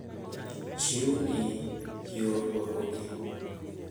Chiwo ni, yor rwakogi.